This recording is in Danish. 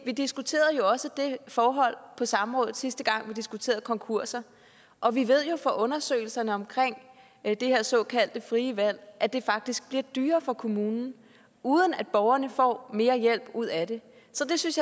vi diskuterede også det forhold på samrådet sidste gang vi diskuterede konkurser og vi ved jo fra undersøgelser af det her såkaldte frie valg at det faktisk bliver dyrere for kommunerne uden at borgerne får mere hjælp ud af det så jeg synes